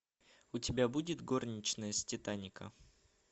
у тебя будет горничная с титаника